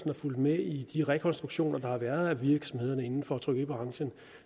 har fulgt med i de rekonstruktioner der har været af virksomhederne inden for trykkeribranchen